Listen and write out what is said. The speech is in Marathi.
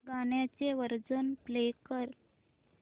गाण्याचे व्हर्जन प्ले कर